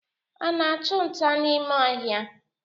Ha ana-achụ nta n'ime ọhịa?